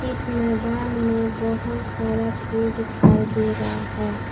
इस मैदान में बहोत सारा फूल दिखाई दे रहा है।